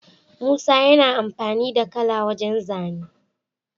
Musa yana amfani da kala wajan zane